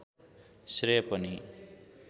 श्रेय पनि